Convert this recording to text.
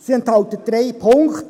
– Sie enthält drei Punkte: